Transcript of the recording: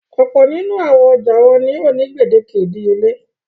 Ọ̀pọ̀ nínú àwọn ọjà wọn ni ó ní gbèdéke ìdíyelé.